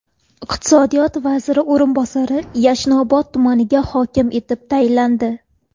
Iqtisodiyot vaziri o‘rinbosari Yashnobod tumaniga hokim etib tayinlandi.